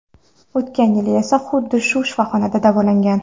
O‘tgan yili esa xuddi shu shifoxonada davolangan.